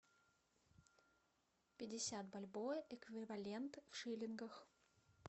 пятьдесят бальбоа эквивалент в шиллингах